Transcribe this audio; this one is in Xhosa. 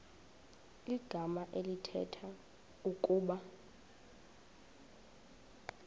igama elithetha ukuba